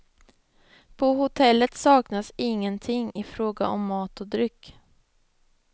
På hotellet saknas ingenting ifråga om mat och dryck.